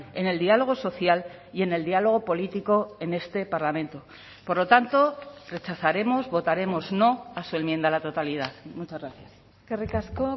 en el diálogo social y en el diálogo político en este parlamento por lo tanto rechazaremos votaremos no a su enmienda a la totalidad muchas gracias eskerrik asko